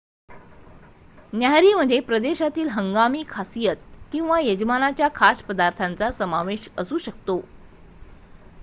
न्याहारीमध्ये प्रदेशातील हंगामी खासियत किंवा यजमानाच्या खास पदार्थाचा समावेश असू शकतो